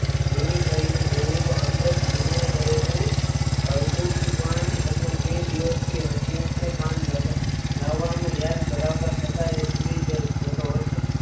રુહી કરી ને જોયું તો અંદર ચિમડાય ગયેલું અડઘુ જ પાન હતું. બે દિવસ થી હસમુખ ને પાન લાવવાનું યાદ કરાવતા છતાં એ ભુલી જ જતો હતો.